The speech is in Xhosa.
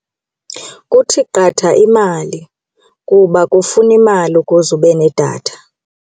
Kuthi qatha imali kuba kufuna imali ukuze ube nedatha.